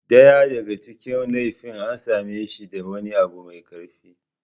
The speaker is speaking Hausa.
Daya daga cikin laifi an same shi da wani abu mai kaifi.